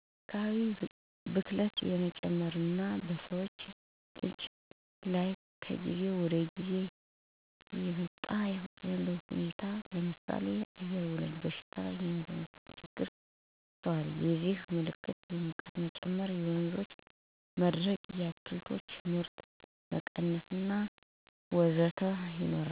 የአካባቢ ብክለት እየጨመረ እና በሰውልጆች ጤና ላይ ከጊዜ ወደጊዜ እየከፋ የመጣበት ሁኔታ ይታያል ለምሳሌ አየርወለድ በሽታዎች (የመተንፈሻ ችግሮች) ይስተዋላሉ የዚህም ምልክቶች የሙቀት መጨመር የወንዞች መድረቅ የአትክልቶች ምርት መቀነስ እና ተደጋጋሚ ሰብሎች በተባይ መበላት እና ወቅቱን ያልጠበቀ ዝናብ ይታያል። እነዚህን ችግሮች ለመቀነስ በሰፊው በአለም አቀፍ ደረጃ መረራት አለበት ለምሳሌ የደን ጭፍጨፋ አቁሞ ወደ ታዳሽ ሀይል ኤሌክትሪክ እና ሶላር መጠቀም። ከፋብሪካ የሚወጡ ጋዞች እና ቆሻሻ ኬሚካሎችን ማስወገድ እንዲሁም በካይ ያልሆነ የህብረተሰቡ የቆሻሻ አወጋገድ ስርአት ቢዘረጋ ጥሩ ነው።